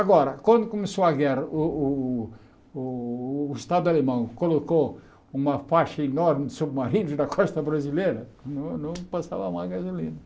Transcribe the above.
Agora, quando começou a guerra, o o o Estado alemão colocou uma faixa enorme de submarinos na costa brasileira, não não passava mais gasolina.